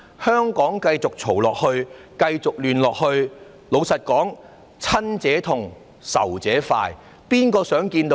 香港如果繼續吵鬧、繼續亂，老實說，"親者痛，仇者快"，誰想看到這種情況？